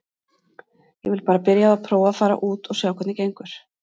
Ég vil bara byrja á að prófa að fara út og sjá hvernig gengur.